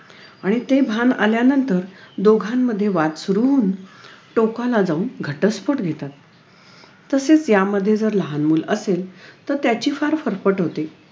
आणि ते भान आल्यानंतर दोघांमध्ये वाद सुरु होऊन टोकाला जाऊन घटस्फोट घेतात तसेच यामध्ये लहान मूल असेल तर त्याची फार फरफट होते